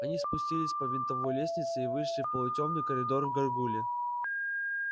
они спустились по винтовой лестнице и вышли в полутемный коридор к гаргулье